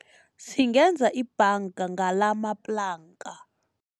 Singenza ibhanga ngalamaplanka.